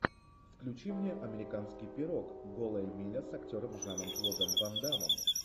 включи мне американский пирог голая миля с актером жаном клодом вандамом